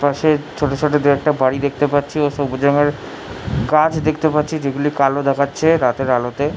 পাশে ছোট ছোট দু- একটা বাড়ি দেখতে পাচ্ছি ও সবুজ রং এর কাঁচ দেখতে পাচ্ছি যেগুলি কালো দেখাচ্ছে রাতের আলোতে।